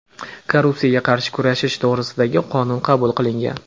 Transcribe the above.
"Korrupsiyaga qarshi kurashish to‘g‘risida"gi Qonun qabul qilingan.